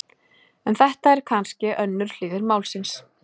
En þetta er kannske önnur hlið málsins.